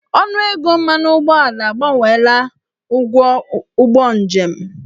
Ọnụego mmanụ ụgbọala abawanyela ụgwọ ụgbọ njem.